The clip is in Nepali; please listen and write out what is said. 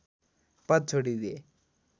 पद छोडिदिए